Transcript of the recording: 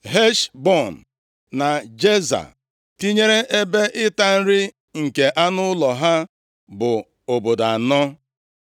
Heshbọn na Jeza, tinyere ebe ịta nri nke anụ ụlọ ha, bụ obodo anọ.